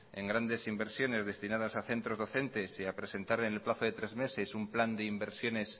en grandes inversiones destinadas a centros docentes y a presentar en el plazo de tres meses un plan de inversiones